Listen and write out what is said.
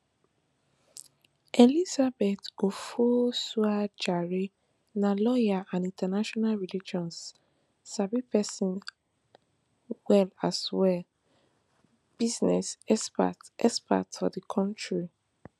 elizabeth ofosuadjare na lawyer and international relations sabi pesin as well as business expert expert for di kontri